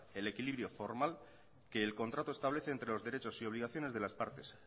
el equilibrio formal que el contrato establece entre los derechos y obligaciones de las partes